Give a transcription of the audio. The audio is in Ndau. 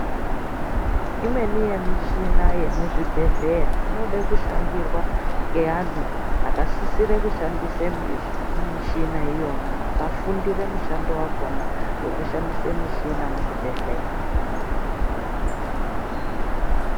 Imweni yemichina yemuzvibhedhleya inode kushandirwa neanhu